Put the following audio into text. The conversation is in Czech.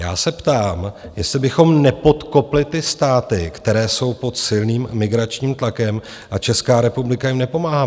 Já se ptám, jestli bychom nepodkopli ty státy, které jsou pod silným migračním tlakem, a Česká republika jim nepomáhá.